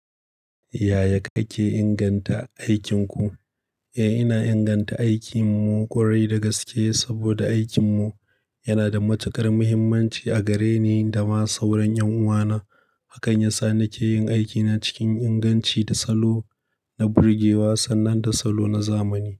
Yaya kake inganta aikinku? Eh, ina inganta aikinmu ƙwarai da gaske saboda aikinmu yana da matuƙar muhimmanci a gare ni da ma sauran ƴan uwana. Hakan ya sa nake yin aikina cikin inganci da salo na burgewa sannan da salo na zamani.